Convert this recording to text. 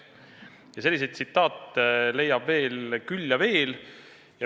Ja selliseid tsitaate leiab küll ja veel.